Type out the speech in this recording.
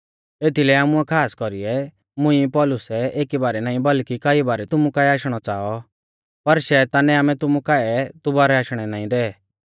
एथीलै आमुऐ खास कौरी मुंई पौलुसै एकी बारै नाईं बल्कि कई बारै तुमु काऐ आशणौ च़ाऔ पर शैतानै आमै तुमु काऐ दुबारौ आशणै नाईं दै